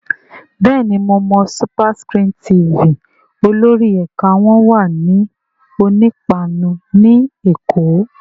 Bẹ́ẹ̀ni mo mọ SuperScreen TV, olórí ẹ̀ka wọn wà ní Onípáánù ní Èkó